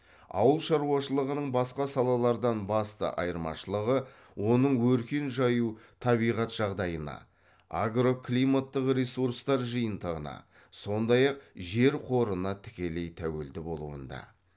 ауыл шаруашылығының басқа салалардан басты айырмашылығы оның өркен жаю табиғат жағдайына агроклиматтық ресурстар жиынтығына сондай ақ жер қорына тікелей тәуелді болуында